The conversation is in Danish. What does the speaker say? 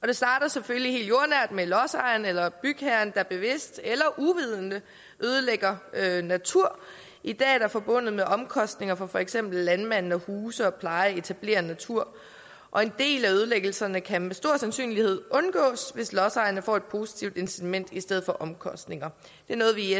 det starter selvfølgelig helt jordnært med at lodsejeren eller bygherren bevidst eller uvidende ødelægger natur i dag er det forbundet med omkostninger for for eksempel landmanden at huse pleje og etablere natur og en del af ødelæggelserne kan med stor sandsynlighed undgås hvis lodsejerne får et positivt incitament i stedet for omkostninger det er noget vi i